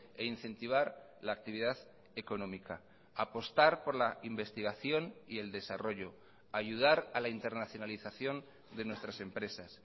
e incentivar la actividad económica apostar por la investigación y el desarrollo ayudar a la internacionalización de nuestras empresas